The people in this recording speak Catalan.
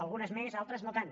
algunes més altres no tant